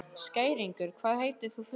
Skæringur, hvað heitir þú fullu nafni?